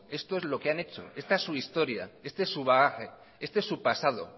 esto es lo que han hecho esta es su historia este es su bagaje este es su pasado